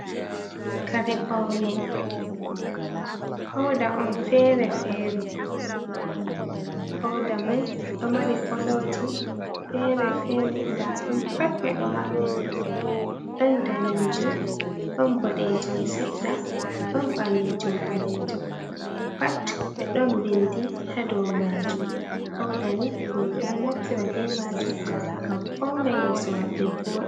Kare paune pauda on fere fere, pauda mai ɗo mari koloji fere fere nda ɗum pat ɓe ɗo maɓɓiti ɗon ɓalejum, ɗon boɗejum seɗɗa, ɗon ɓalejum ɓalejum, pat ɓe ɗon bindi ha dou majum, pauda ni roɓɓe ɗo naftira be majum ngam fauna yeso maɓɓe voɗa.